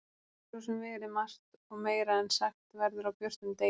Það getur svo sem verið margt. og meira en sagt verður á björtum degi.